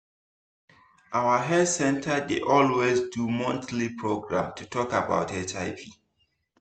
our health center dey always do monthly programs to talk about hiv.